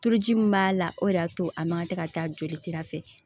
Turuji min b'a la o de y'a to a man ka tɛ ka taa jolisira fɛ